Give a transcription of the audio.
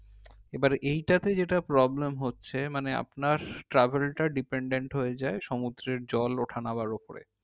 এইবার এইটাতে যেইটা problem হচ্ছে মানে আপনার travel টা depended হয়ে যাই সমুদ্রের জল ওঠা নামার ওপরে